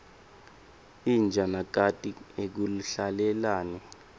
inja nakati akuhlalelani